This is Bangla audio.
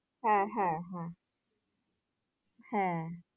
হ্যাঁ হ্যাঁ হ্যাঁ হ্যাঁ